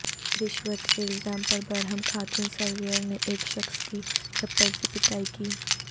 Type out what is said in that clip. رشوت کے الزام پر برہم خاتون سرویئر نے ایک شخص کی چپل سے پٹائی کی